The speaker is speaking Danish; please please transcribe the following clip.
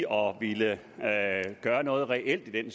om at ville gøre noget reelt i